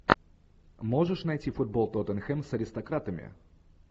можешь найти футбол тоттенхэм с аристократами